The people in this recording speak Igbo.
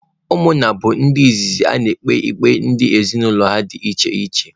Ụmụnna bụ ndị izizi na-ekpe ikpe dị n'ezinụlọ ha dị iche iche